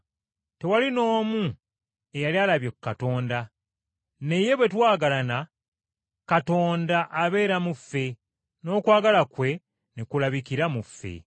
Tewali n’omu eyali alabye ku Katonda, naye bwe twagalana, Katonda abeera mu ffe, n’okwagala kwe ne kulabikira mu ffe.